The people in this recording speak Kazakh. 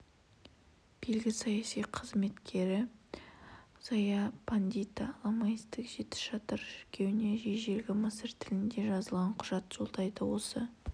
белгілі саяси қайраткері зая-пандита ламаистік жеті шатыр шіркеуіне ежелгі мысыр тілінде жазылған құжат жолдайды осы